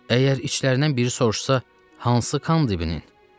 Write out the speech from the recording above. Əgər içlərindən biri soruşsa, hansı Kandibinin?